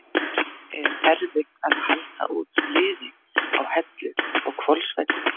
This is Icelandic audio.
Er erfitt að halda út liði á Hellu og Hvolsvelli?